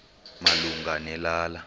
malunga ne lala